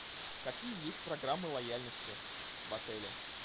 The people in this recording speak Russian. какие есть программы лояльности в отеле